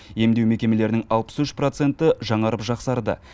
емдеу мекемелерінің алпыс үш проценті жаңарып жақсарды